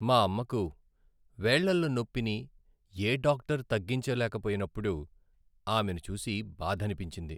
మా అమ్మకు వేళ్ళలో నొప్పిని ఏ డాక్టర్ తగ్గించలేకపోయినప్పుడు ఆమెను చూసి బాధనిపించింది.